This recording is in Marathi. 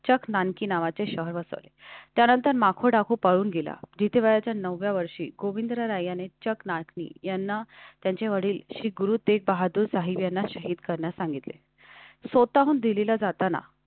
चक नानकी नावाचे शहर वसवले. त्यानंतर माखून टाकू पळून गेला. जिथे वयाच्या नवव्या वर्षी गोविंद राय याने चक् नाटय़नी यांना त्यांचे वडील श्री गुरु तेग बहादुर साहेब आहेत करण्यास सांगितले. स्वतःहून दिल्लीला जाताना.